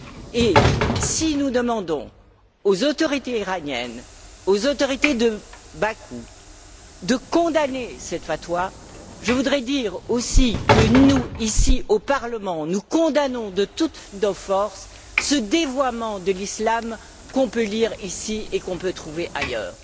Et, si nous demandons aux autorités iraniennes et aux autorités de Bakou de condamner cette fatwa, je voudrais aussi dire que nous, ici au Parlement, condamnons de toutes nos forces ce dévoiement de l'islam que l'on peut lire ici et que l'on peut trouver ailleurs.